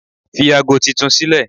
Fi ago titun ni sílẹ̀!